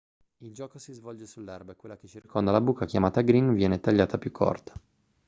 il gioco si svolge sull'erba e quella che circonda la buca chiamata green viene tagliata più corta